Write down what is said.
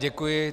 Děkuji.